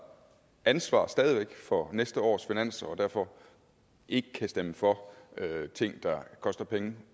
ansvar for næste års finanslov og derfor ikke kan stemme for ting der koster penge